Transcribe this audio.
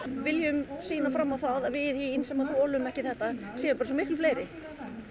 viljum sýna fram á það að við hin sem að þolum ekki þetta séum miklu fleiri